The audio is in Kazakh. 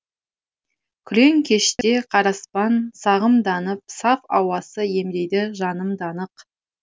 күрең кеште қараспан сағымданып саф ауасы емдейді жанымды анық